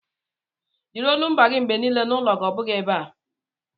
Jiri olumba gị mgbe niile n'ụlọ gị ọ bụghị ebe a!